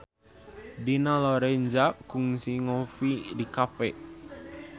Dina Lorenza kungsi ngopi di cafe